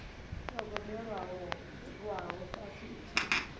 yo gobelelwaho fhasi i tshi